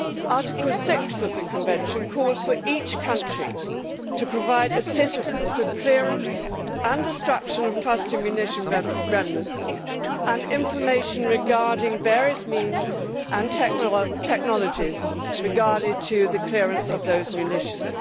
Article 6 of the convention calls for each country to provide assistance for clearance and destruction of cluster munition remnants and information concerning various means and technologies related to the clearance of those munitions.